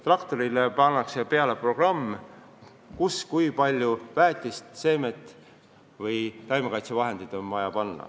Traktorile pannakse peale programm, mis arvutab, kui palju väetist, seemet või taimekaitsevahendeid maa vajab.